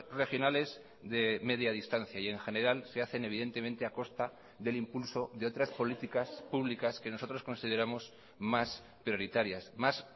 regionales de media distancia y en general se hacen evidentemente a costa del impulso de otras políticas públicas que nosotros consideramos más prioritarias más